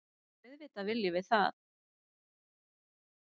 Auðvitað viljum við það.